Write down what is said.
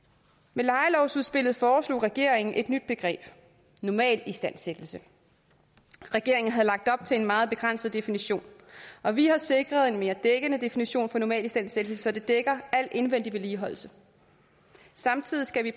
med lejelovsudspillet foreslog regeringen et nyt begreb normalistandsættelse regeringen havde lagt op til en meget begrænset definition og vi har sikret en mere dækkende definition af normalistandsættelse så det dækker al indvendig vedligeholdelse samtidig skal